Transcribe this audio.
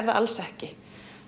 það alls ekki